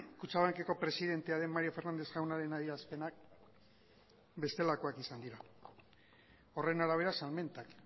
kutxabankeko presidentea den mario fernández jaunaren adierazpenak bestelakoak izan dira horren arabera salmentak